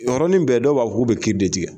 O yɔrɔnin bɛɛ dɔw ba fɔ k'u bɛ kiri de tigɛ.